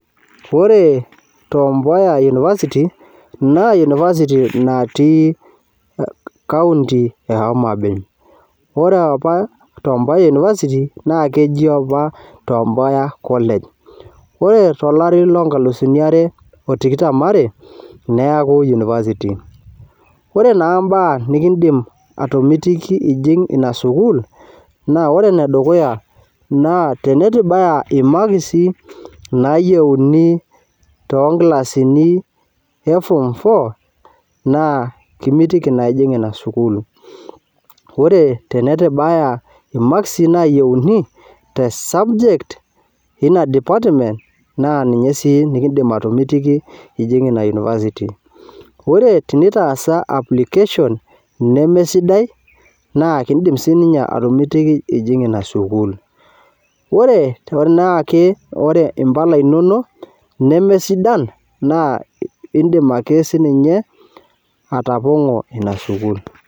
Oore Tom Mboya university naa university natii County e Homa Bay. Oore aapa Tom Mboya university na keji aapa Tom Mboya collage. Oore tolari loo nkalifuni aare o tomon aare neitae university. Oore naa imbaa nekin'dim atomitiki iijing iina sukuul, naa oore enedukuya teneitu ibaya imakisi nayieuni too nkilasini e form four naa kimitiki aa ijing iina sukuul. Oore teneitu ibaya imakisi nayieuni te subject eina department, naa ninye sii nekiidim atomitiki iijing iina university. Naa oore pee itaasa application nemesidai naa ekimitiki iijing iina sukuul. Oore tenaake impala inonok neme sidan naa iidim aake sininye atapang'o iina sukuul.